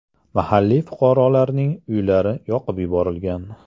Mahalliy fuqarolarning uylari yoqib yuborilgan.